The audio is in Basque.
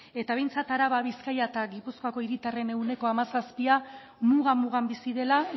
eta behintzat araba bizkaia eta gipuzkoako hiritarren ehuneko hamazazpia muga mugan bizi dela